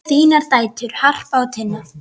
Þínar dætur, Harpa og Tinna.